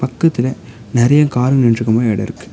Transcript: பக்கத்துல நெறைய காரு நின்னுட்டுருக்க மாரி எட இருக்கு.